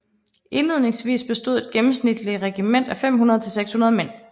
Indledningsvis bestod et gennemsnitligt regiment af 500 til 600 mænd